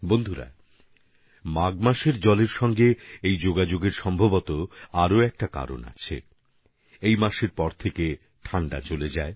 বন্ধুগণ মাঘ মাসকে জলের সঙ্গে যুক্ত করার সম্ভবতঃ আরও এক কারণ আছে এর পর থেকেই শীত কমে যায়